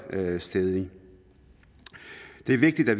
stædige det er vigtigt at